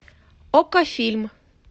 окко фильм